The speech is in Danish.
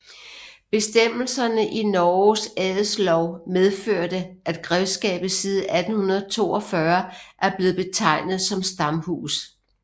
Bestemmelser i Norges adelslov medførte at grevskabet siden 1842 er blevet betegnet som stamhus